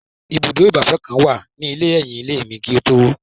Ibùdó ìgbafẹ́ kan wà ní ẹ̀yìn ilé mi, kí wọ́n tó wó o